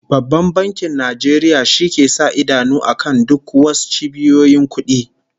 Babban Bankin Nigeria shi ke sa idanu akan duk was cibiyoyin kudi